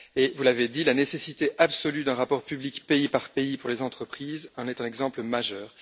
Vous l'avez dit, la nécessité absolue d'un rapport public pays par pays pour les entreprises en est un exemple majeur.